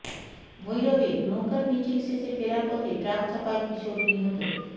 ভৈরবে নৌকার মিছিল শেষে ফেরার পথে ট্রাক চাপায় কিশোর নিহত